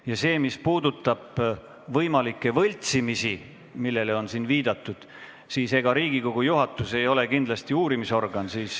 Ja mis puudutab võimalikke võltsimisi, millele siin on viidatud, siis ega Riigikogu juhatus ei ole uurimisorgan.